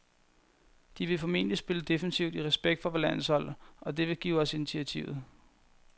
De vil formentlig spille defensivt i respekt for vort landshold, og det vil give os initiativet.